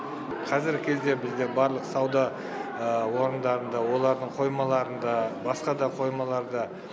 қазіргі кезде бізде барлық сауда орындарында олардың қоймаларында басқа да қоймаларда